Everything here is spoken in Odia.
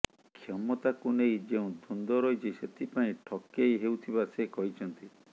କ୍ଷମତାକୁ ନେଇ ଯେଉଁ ଦ୍ୱନ୍ଦ୍ୱ ରହିଛି ସେଥିପାଇଁ ଠକେଇ ହେଉଥିବା ସେ କହିଛନ୍ତି